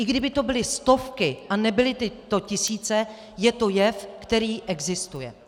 I kdyby to byly stovky a nebyly to tisíce, je to jev, který existuje.